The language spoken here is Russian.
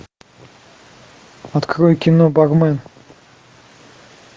открой кино бармен